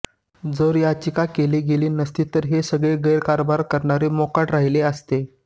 जर याचिकाच केली गेली नसती तर हे सगळे गैरकारभार करणारे मोकाट राहिले असते